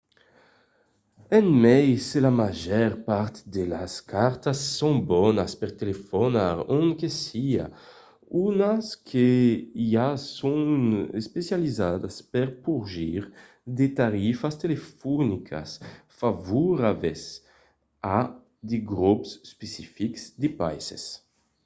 e mai se la màger part de las cartas son bonas per telefonar ont que siá d’unas que i a son especializadas per porgir de tarifas telefonicas favorablas a de grops especifics de païses